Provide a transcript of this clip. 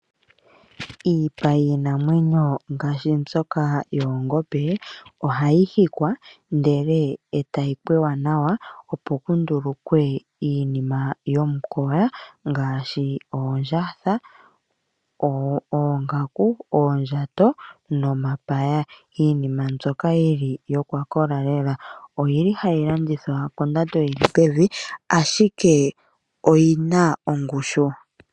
Iipa yiinamwenyo ngaashi mbyoka yoongombe ohayi hikwa, ndele etayi pweya nawa opo pundulukwe iinima yomukoya ngaashi oondjatha, oongaku, oondjato nomapaya . Iinima mbyoka yili yokwakola lela oyili hayi landithwa kondando yili pevi , ashike oyina ongushu.